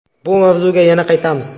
Bu mavzuga yana qaytamiz...